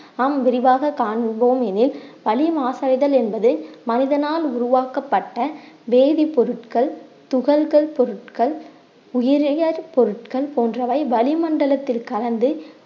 நாம் விரிவாக காண்போம் எனில் வளி மாசடைதல் என்பது மனிதனால் உருவாக்கப்பட்ட வேதிப்பொருட்கள் துகள்கள் பொருட்கள் உயிரியர் பொருட்கள் போன்றவை வளிமண்டலத்தில் கலந்து